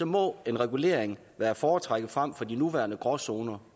må en regulering være at foretrække frem for de nuværende gråzoner